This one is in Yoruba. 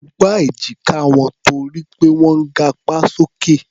Mo gbá èjíká wọn torí pé wọ́n ń gapá sókè.